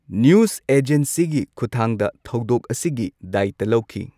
News ꯑꯦꯖꯦꯟꯁꯤꯒꯤ ꯈꯨꯠꯊꯥꯡꯗ ꯊꯧꯗꯣꯛ ꯑꯁꯤꯒꯤ ꯗꯥꯢꯠꯇ ꯂꯧꯈꯤ꯫